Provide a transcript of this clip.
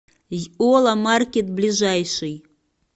йола маркет ближайший